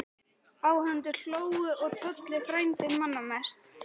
Áhorfendur hlógu og Tolli frændi manna mest.